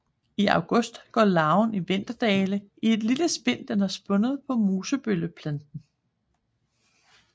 I august går larven i vinterdvale i et lille spind den har spundet på mosebølleplanten